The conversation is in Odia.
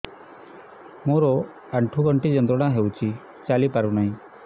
ମୋରୋ ଆଣ୍ଠୁଗଣ୍ଠି ଯନ୍ତ୍ରଣା ହଉଚି ଚାଲିପାରୁନାହିଁ